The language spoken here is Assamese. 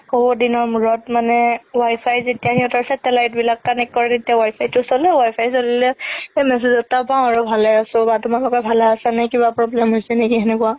বহুত দিনৰ মানে Wi-Fi যেতিয়া সিহতৰ satellite বিলাক connect কৰে তেতিয়া Wi-Fi তো চলে Wi-Fi চলিলে message এটা পাও আৰু ভালে আছো বা তোমালোকে ভালে আছা নে কিবা problem হৈছে নেকি সেনেকুৱা